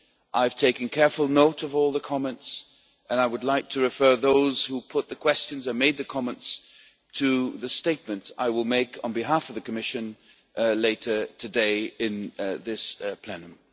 I have taken careful note of all the comments, and I would like to refer those who put the questions and made the comments to the statement I will make on behalf of the Commission later today in this plenary.